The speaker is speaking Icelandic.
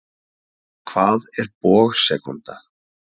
Hvað er bogasekúnda?